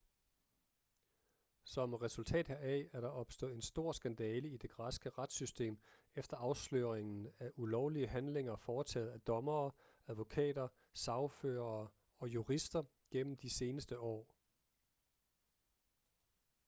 som resultat heraf er der opstået en stor skandale i det græske retssystem efter afsløringen af ulovlige handlinger foretaget af dommere advokater sagførere og jurister gennem de seneste år